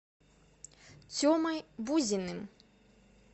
темой бузиным